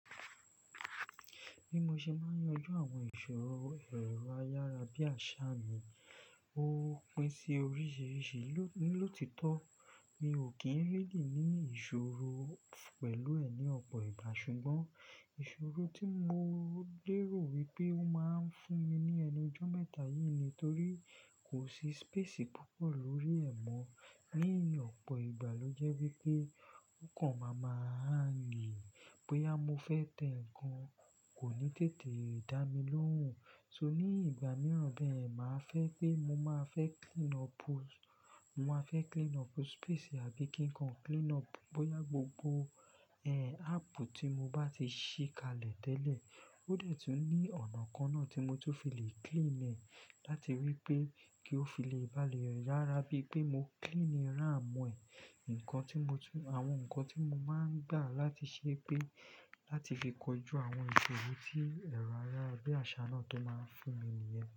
Bí mo ṣe máa ń yanjú àwọn ìṣòro ẹ̀rọ ayára bí àṣá mi. Ó pín sí oríṣìíríṣìí. Ni lotitọ́, mi ò kí ń rí di ní ìṣòro pẹ̀lú ẹ̀ ní ọ̀pọ̀ ìgbà. Ṣùgbọ́n ìṣòro tí mo lèrò wípé ó máa ń fún mi ní ẹnu ijọ́ mẹ́ta yìí ni. Nítorí kò sí space púpọ̀ lórí ẹ̀ mọ́ ní ọ̀pọ̀ ìgbà ló jẹ́ wípé o kàn máa ma hangi. Bóyá mo fẹ́ tẹ ǹkan kò ní tètè dá mi lóhùn. So ní ìgbà mìíràn bẹ́ẹ̀, màá fẹ́ pé mo máa fẹ́ clean up, mo máa fẹ́ clean up space àbí kí nǹkan clean up. Bóyá gbogbo ẹ̀, app tí mo bá ti sì kalẹ̀ tẹ́lẹ̀ ó dẹ̀ tún ní ọ̀nà kan náà tí mo tó fi le clean ẹ̀ láti wípé kí ó fi le bá mi rárá. Bí i pé mo clean RAM ẹ̀, ǹkan tí mo tún, àwọn ǹkan tí mo máa ń gbà láti ṣe pé, láti fi kọjú àwọn ìṣòro tí ẹ̀rọ ayára bí àṣá náà tó máa ń fún mi nìyẹn.